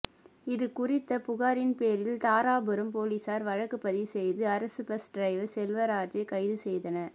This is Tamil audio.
இதுகுறித்த புகாரின் பேரில் தாராபுரம் போலீசார் வழக்கு பதிவு செய்து அரசு பஸ் டிரைவர் செல்வராஜை கைது செய்தன